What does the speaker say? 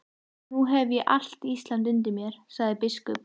Nú hef ég allt Ísland undir mér, sagði biskup.